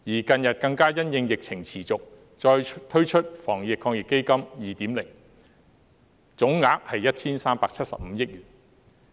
近日更加因應疫情持續，再推出第二輪防疫抗疫基金，總額為 1,375 億元。